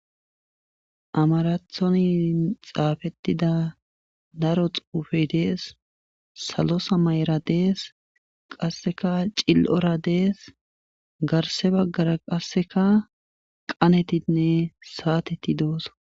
Amarathoni xaafettida daro xuufe dees. salo samayera dees. qassika cil7oora dees. garsse baggara qassikka qanetinne saateti doosona.